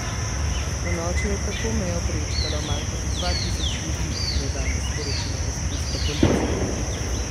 Ponoči je tako mejo prečkalo manj kot dva tisoč ljudi, je danes sporočila avstrijska policija.